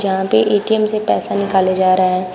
यहाँ पे ए_टी_एम से पैसा निकाले जा रहे हैं।